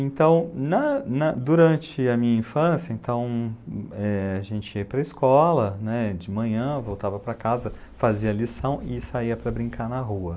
Então, na, na, durante a minha infância, então, é, a gente ia para a escola de manhã, voltava para casa, fazia lição e saia para brincar na rua.